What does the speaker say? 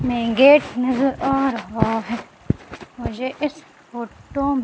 में गेट नजर आ रहा है मुझे इस फोटो --